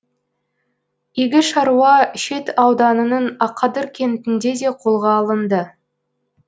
игі шаруа шет ауданының ақадыр кентінде де қолға алынды